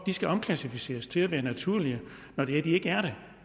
skal omklassificeres til at være naturlige når de ikke er det